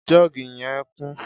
jug je n'y'a kun